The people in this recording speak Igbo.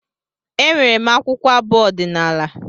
Enwere m akwụkwọ abụ ọdinala